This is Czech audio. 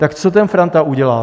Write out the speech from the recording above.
Tak co ten Franta udělá?